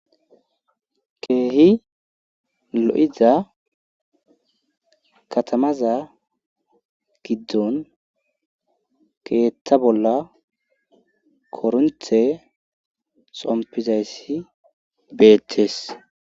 keehi lo'iza katamaza giddon keeththa bolla koronte xompizayssi beetees